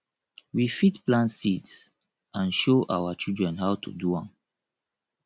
we fit plant seeds and show our children how to do am